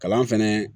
Kalan fɛnɛ